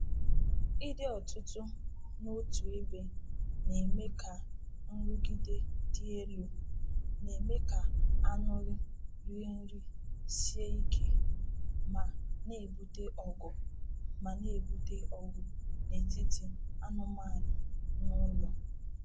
Ịdị ọtụtụ n’otu ebe na-eme ka nrụgide dị elu, na-eme ka anụrị rie nri sie ike, ma na-ebute ọgụ ma na-ebute ọgụ n’etiti anụmanụ n’ụlọ.